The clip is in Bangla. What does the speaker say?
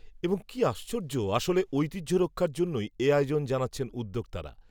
এবং, কি আশ্চর্য, আসলে, ঐতিহ্য রক্ষার জন্যই, এ আয়োজন জানাচ্ছেন, উদ্যোক্তারা